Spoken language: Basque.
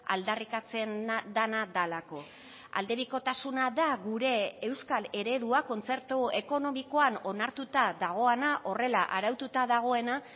aldarrikatzen dena delako aldebikotasuna da gure euskal eredua kontzertu ekonomikoan onartuta dagoena horrela araututa dagoena